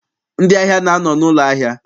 Ndị ahịa na-anọ n'ụlọ ahịa.